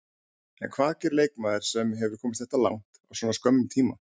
En hvað gerir leikmaður sem hefur komist þetta langt á svona skömmum tíma?